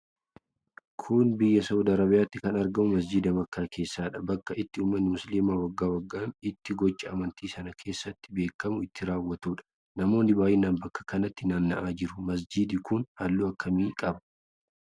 Kun biyya Saa'ud Arabiyaatti kan argamu masjiida makkaa keessadha. Bakka itti ummanni musliimaa waggaa waggaan itti gochaa amantii san keessatti beekamu itti raawwatuudha. Namoonni baay'inaan bakka kanatti naanna'aa jiru. Majiidi kun halluu akkamii qaba?